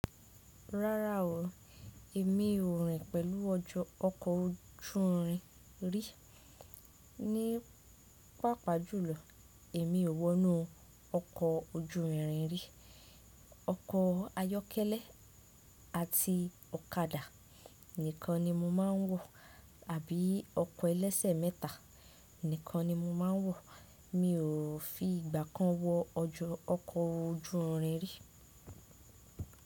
Rárá o, èmi ò rìn pẹ̀lú ọkọ̀ ojú irin rí. Ní pàpá jùlọ èmi ò wọnú ọkọ̀ ojú irin rí. Ọkọ̀ ayọ́kẹ́lẹ́ àti ọ̀kadà nìkan ni mọ máa ń wọ̀ àbí ọkọ̀ ẹlẹ́sẹ̀ mẹ́ta nìkan ni mo máa ń wọ̀. Mi ò fi ìgbà kan wọ ọjọ́ ọkọ̀ ojú irin rí.